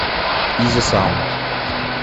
изи саунд